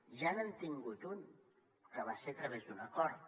ja n’han tingut un que va ser a través d’un acord